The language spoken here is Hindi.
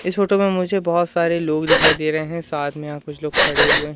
इस फोटो में मुझे बहोत सारे लोग दिखाई दे रहे है साथ मे यहां कुछ लोग खड़े हुए हैं।